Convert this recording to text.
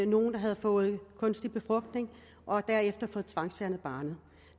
nogle der havde fået kunstig befrugtning og derefter fået tvangsfjernet barnet